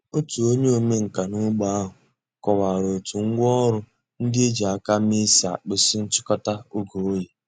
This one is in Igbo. Ọ̀tù ònyè òmènkà n’ógbè àhụ̀ kọ̀wárà ó̩tù ngwá òrụ̀ ńdí è jì àkà mée sì àkpụ̀zì nchị̀kò̩tà ògè òyì.